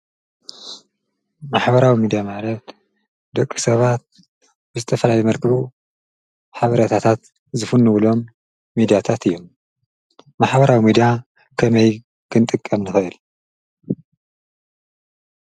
ማኅበራዊ ሚድያ ማለት ደቂ ሰባት ብስተፈላይመርክሉ ሓብረታታት ዝፉኑብሎም ሚዳያታት እዩ ማኃበራዊ ሚድያ ከመይ ክንጥቀምትሁየል